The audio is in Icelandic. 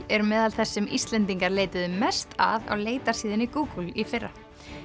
eru meðal þess sem Íslendingar leituðu mest að á leitarsíðunni Google í fyrra